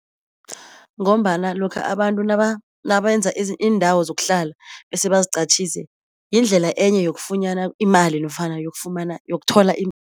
Ngombana lokha abantu nawenza indawo zokuhlala bese baziqhatjiswe yindlela enye yokufunyanwa imali nofana yafumana yokuthola .